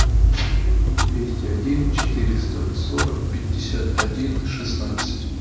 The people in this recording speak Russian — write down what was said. двести один четыреста сорок пятьдесят один шестнадцать